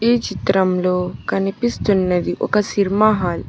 ఈ చిత్రంలో కనిపిస్తున్నది ఒక సినిమా హాల్ .